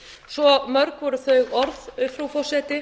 svo mörg voru þau orð frú forseti